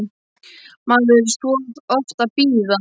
Maður þarf svo oft að bíða!